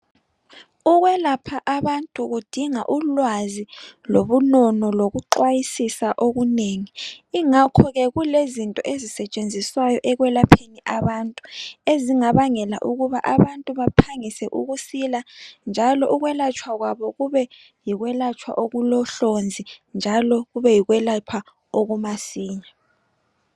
Ukwelapha abantu kudinga ulwazi lobunono loku xwayisisa okunengi. Ingakho ke kulezinto ezisetshenziswayo ekwelapheni abantu ezingabangela ukuthi abantu baphangise ukusila njalo ukwelatshwa kwabo kube yikwelatshwa okulo hlonzi njalo kube yikwelapha okumasinya